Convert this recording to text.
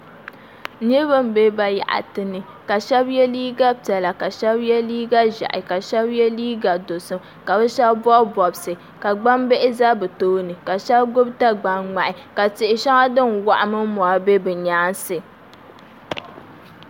Niraba n bɛ bayaɣati ni ka shab yɛ liiga piɛla ka shab yɛ liiga ʒiɛhi ka shab yɛ liiga dozim ka bi shab bob bobsi ka gbambihi ʒɛ bi tooni ka shab gbubi gagbaŋ ŋmahi ka tihi shɛŋa din waɣa mini mori bɛ bi nyaansi